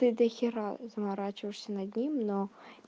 ты дохера заморачиваешься над ним но